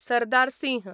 Sardar Singh